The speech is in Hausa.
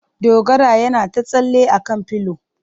Dogara yana ta tsalle a kan pilo.